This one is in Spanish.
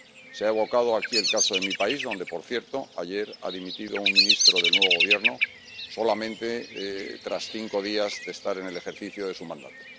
Se ha evocado aquí el caso de mi país, donde, por cierto, ayer ha dimitido un ministro del nuevo Gobierno solamente tras cinco días de estar en el ejercicio de su mandato.